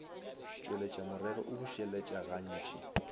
tšweletša morero o bušeletša gantši